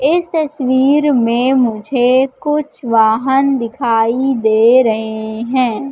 इस तस्वीर में मुझे कुछ वाहन दिखाई दे रहे हैं।